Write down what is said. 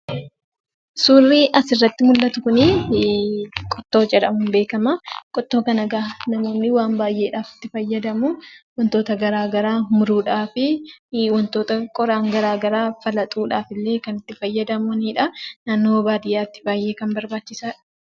Suurri asirratti mul'atu kun qottoo jedhamuun beekama. Qottoo kana egaa namoonni waan baay'eedhaaf itti fayyadamuu. Wantoota garaagaraa muruudhaafii, qoraan garaagaraa falaxuudhaaf kan itti fayyadamanidha. Kunimmoo baadiyyaatti baay'ee barbaachisaadha.